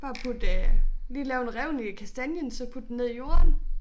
Bare putte øh lige lave en revne i kastanjen så putte den ned i jorden